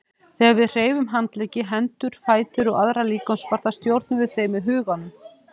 Þegar við hreyfum handleggi, hendur, fætur og aðra líkamsparta stjórnum við þeim með huganum.